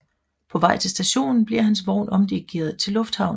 På vej til stationen bliver hans vogn omdirigeret til lufthavnen